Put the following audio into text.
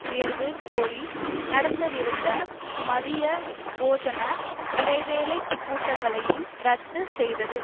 உயர்வு கோரி நடத்தவிருந்த மதிய போசன இடைவேலைக் கூட்டங்களையும் இரத்து செய்தது